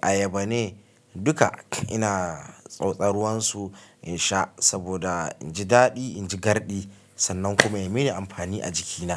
ayaba ne? Duka ina tsotsar ruwan su in sha saboda in ji daɗi, in ji garɗi sannan kuma ya mini amfani a jikina.